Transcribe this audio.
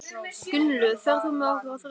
Gunnlöð, ferð þú með okkur á þriðjudaginn?